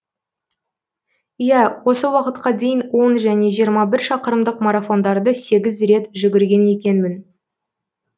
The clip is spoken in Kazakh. иә осы уақытқа дейін он және жиырма шақырымдық марафондарды сегіз рет жүгірген екенмін